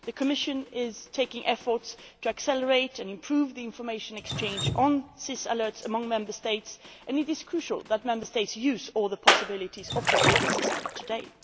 The Commission is making efforts to accelerate and improve the information exchange on SIS alerts among Member States, and it is crucial that Member States use all the possibilities offered by the system today.